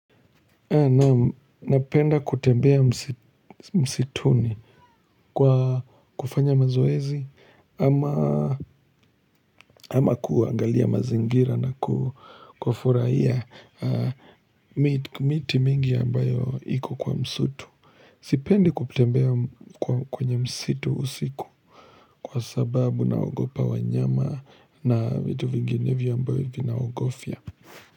Napenda kutembea msituni kwa kufanya mazoezi ama kuangalia mazingira na kufurahia miti mingi ambayo iko kwa msutu. Sipendi kutembea kwenye msitu usiku kwa sababu na ogopa wanyama na vitu vinginevyo ambayo vinaogofia.